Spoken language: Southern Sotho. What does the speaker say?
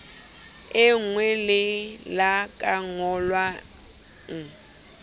e nwelella ka nyollo e